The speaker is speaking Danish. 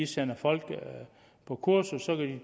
sender folk på kursus